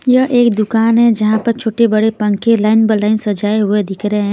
यह एक दुकान है जहां पर छोटे-बड़े पंखे लाइन बाय लाइन सजाए हुए दिख रहे हैं.